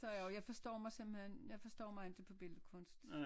Og jeg forstår simpelthen jeg forstår mig ikke på billedkunst